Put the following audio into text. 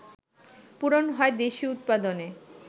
পূরণ হয় দেশীয় উৎপাদনে